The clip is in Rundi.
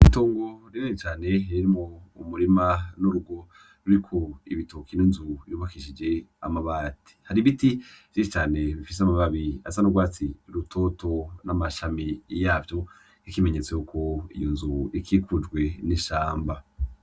Itongo rinini cane ririmwo umurima n'urugo ruriko ibitoki n'inzu yubakishije amabati. Hari ibiti vyinshi cane bifise amababi asa n'urwatsi rutoto n'amashami yavyo nk'ikimenyetso yuko iyo nzu ikikujwe n'ishamba.